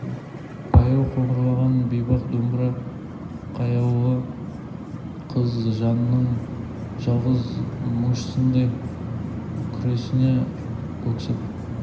баяу қоңырлаған бейбақ домбыра қаяулы қыз жанының жалғыз мұңшысындай күрсіне өксіп